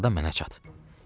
Arxadan mənə çat.